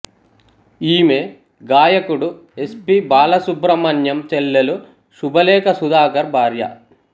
ఈమె గాయకుడు S P Balasubrahmanyam చెల్లెలు శుభలేఖ సుధాకర్ భార్య